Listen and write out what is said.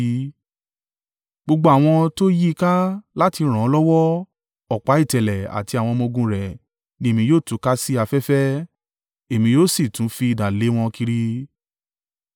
Gbogbo àwọn tó yí i ká láti ràn án lọ́wọ́ ọ̀pá ìtẹ̀lẹ̀ àti àwọn ọmọ-ogun rẹ̀ ni Èmi yóò túká sí afẹ́fẹ́, èmi yóò sì tún fi idà lé wọn kiri.